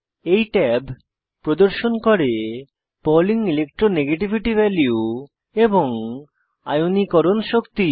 এই ট্যাব প্রদর্শন করে পাউলিং ইলেকট্রো নেগেটিভিটি ভ্যালু এবং আয়নীকরণ শক্তি